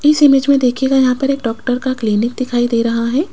इस इमेज में देखिएगा यहां पर एक डॉक्टर का क्लीनिक दिखाई दे रहा है।